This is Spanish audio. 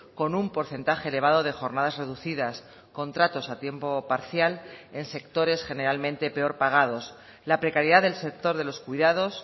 con un porcentaje elevado de jornadas reducidas contratos a tiempo parcial en sectores generalmente peor pagados la precariedad del sector de los cuidados